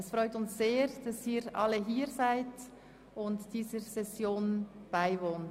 Es freut uns sehr, dass Sie alle hier sind und dieser Session beiwohnen.